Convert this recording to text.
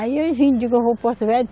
Aí enfim, digo, eu vou paro Porto Velho.